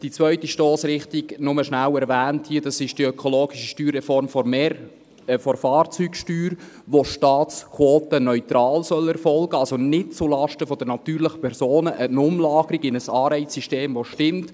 Die zweite Stossrichtung – sie sei hier nur schnell erwähnt – ist die ökologische Steuerreform der Fahrzeugsteuer, wobei die Staatsquoten neutral erfolgen sollen, also nicht zulasten der natürlichen Personen: eine Umlagerung in ein Anreizsystem, das stimmt.